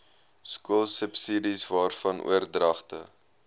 skoolsubsidies waarvan oordragte